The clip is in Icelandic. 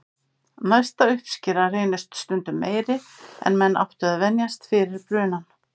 Næsta uppskera reynist stundum meiri en menn áttu að venjast fyrir brunann.